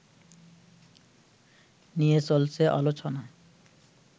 নিয়ে চলছে আলোচনা